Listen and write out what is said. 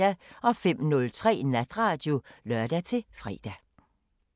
05:03: Natradio (lør-fre)